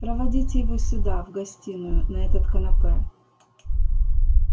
проводите его сюда в гостиную на этот канапе